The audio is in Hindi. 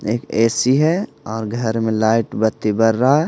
एक ए_सी है और घर में लाइट बत्ती बर रहा है।